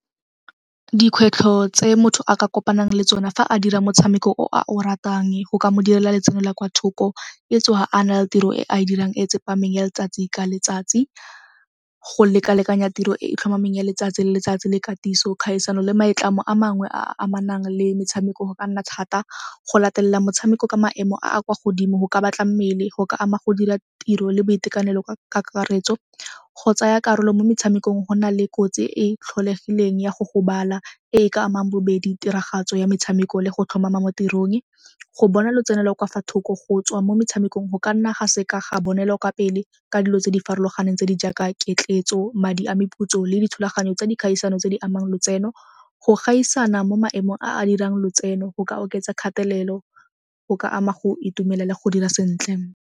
Dikgwetlho tse motho a ka kopanang le tsona fa a dira motshameko o a o ratang go ka mo direla letseno la kwa thoko e tsoga a na le tiro e a dirang e tsepameng ya letsatsi ka letsatsi. Go lekalekanya tiro e e tlhomameng ya letsatsi le letsatsi le katiso, kgaisano le maitlamo a mangwe a a amanang le metshameko go ka nna thata. Go latelela motshameko ka maemo a a kwa godimo go ka batla mmele, go ka ama go dira tiro le boitekanelo ka kakaretso. Go tsaya karolo mo metshamekong go na le kotsi e e tlholegileng ya go gobala e e ka amang bobedi, tiragatso ya metshameko le go tlhomama mo tirong. Go bona lotseno lo kwa fa thoko go tswa mo metshamekong go ka nna ga seka ga bonela kwa pele ka dilo tse di farologaneng tse di jaaka , madi a meputso le dithulaganyo tsa dikgaisano tse di amang lotseno. Go gaisana mo maemong a a dirang lotseno go ka oketsa kgatelelo., go ka ama go itumelela go dira sentle.